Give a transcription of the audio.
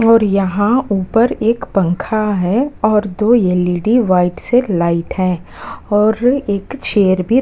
और यहाँ ऊपर एक पंखा है और दो एल.ई.डी. वाइट से लाइट है और एक चेयर भी।